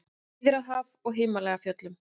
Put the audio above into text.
Miðjarðarhaf og í Himalajafjöllum.